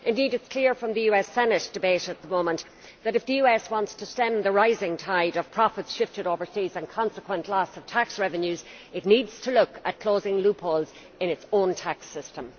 Indeed it is clear from the US Senate debate at the moment that if the US wants to stem the rising tide of profits shifted overseas and consequent loss of tax revenues, it needs to look at closing loopholes in its own tax system.